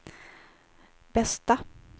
bästa